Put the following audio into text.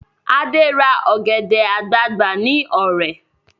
Ade ra ọ̀gẹ̀dẹ̀ àgbagbà ní Ọ̀rẹ̀